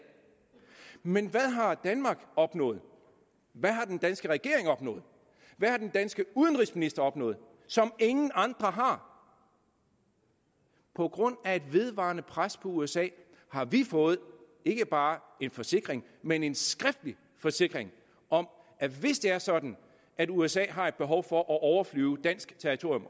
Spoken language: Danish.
men hvad har danmark opnået hvad har den danske regering opnået hvad har den danske udenrigsminister opnået som ingen andre har på grund af et vedvarende pres på usa har vi fået ikke bare en forsikring men en skriftlig forsikring om at hvis det er sådan at usa har et behov for at overflyve dansk territorium